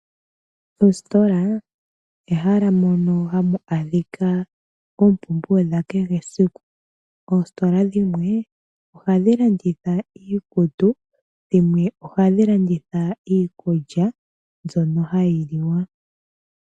Oositola ehala mono hamu adhika oompumbwe dhakehe esiku. Oositola dhimwe ohadhi landitha iikutu dhimwe ohadhi landitha iikulya mbyono hayi liwa.